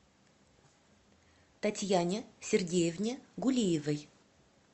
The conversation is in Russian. татьяне сергеевне гулиевой